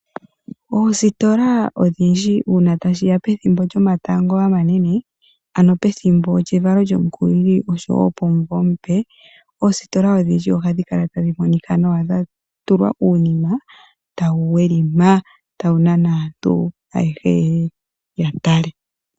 Oositola uuna tashiya pethimbo lyomatango omanene ano pethimbo lyevalo lyomukulili osho woo pomuvo omupe, oositola odhindji ohadhi kala tadhi monika nawa dhatulwa uunima tawu welima nawa, mboka hawu nana aantu opo yeye yatale.